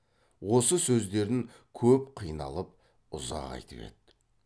осы сөздерін көп қиналып ұзақ айтып еді